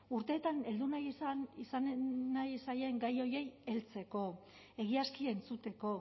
urteetan heldu nahi ez zaien gai horiei heltzeko egiazki entzuteko